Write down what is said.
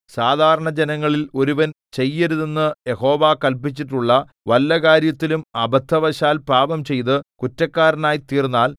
സാധാരണ ജനങ്ങളിൽ ഒരുവൻ ചെയ്യരുതെന്ന് യഹോവ കല്പിച്ചിട്ടുള്ള വല്ല കാര്യത്തിലും അബദ്ധവശാൽ പാപംചെയ്ത് കുറ്റക്കാരനായി തീർന്നാൽ